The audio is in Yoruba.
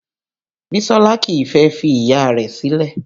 Bisola kìí fẹ́ fi Ìyá rẹ̀ sílẹ̀